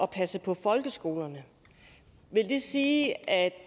passe på folkeskolerne vil det sige at